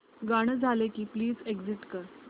गाणं झालं की प्लीज एग्झिट कर